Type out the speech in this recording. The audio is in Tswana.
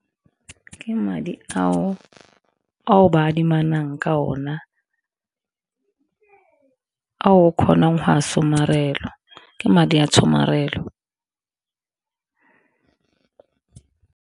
Ke madi ao ba adimanang ka ona, a o kgonang go a somarela ke madi a tshomarelo.